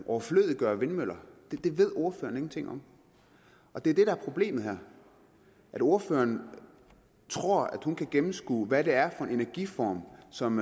overflødiggør vindmøller det ved ordføreren ingenting om det er det der er problemet her ordføreren tror at hun kan gennemskue hvad det er for en energiform som